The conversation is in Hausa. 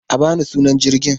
A ba ni sunan jirgin!